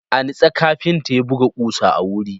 A nutse, kafinta ya buga ƙusa a wuri.